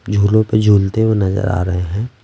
झूलों पे झूलते हुए नजर आ रहे हैं ।